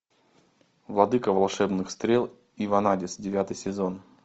владыка волшебных стрел и ванадис девятый сезон